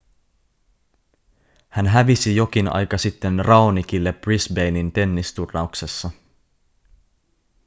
hän hävisi jokin aika sitten raonicille brisbanen tennisturnauksessa